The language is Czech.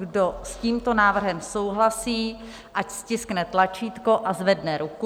Kdo s tímto návrhem souhlasí, ať stiskne tlačítko a zvedne ruku.